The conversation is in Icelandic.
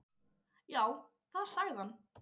Já, það sagði hann.